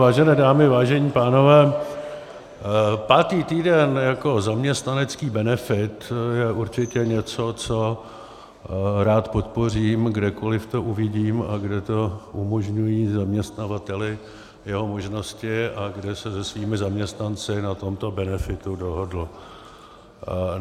Vážené dámy, vážení pánové, pátý týden jako zaměstnanecký benefit je určitě něco, co rád podpořím, kdekoliv to uvidím a kde to umožňují zaměstnavateli jeho možnosti a kde se se svými zaměstnanci na tomto benefitu dohodl.